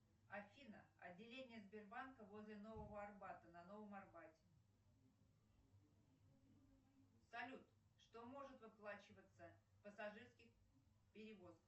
афина отделение сбербанка возле нового арбата на новом арбате салют что может выплачиваться в пассажирских перевозках